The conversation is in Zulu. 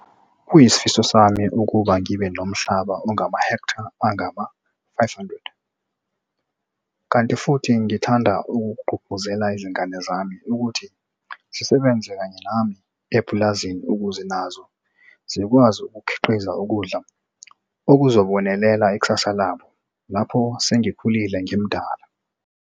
Kuyisifiso sami ukuba ngibe nomhlaba ongamahektha angama-500, kanti futhi ngingathanda ukugqugquzela izingane zami ukuthi zisebenze kanye nami epulazini ukuze nazo zikwazi ukukhiqiza ukudla okuzobonelela ikusasa labo lapho sengikhulile ngimdala.